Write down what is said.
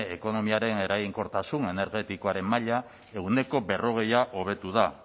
ekonomiaren eraginkortasun energetikoaren maila ehuneko berrogei hobetu da